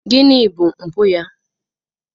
Gịnị bụ mpụ ya?